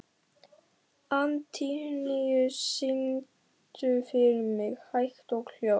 Antóníus, syngdu fyrir mig „Hægt og hljótt“.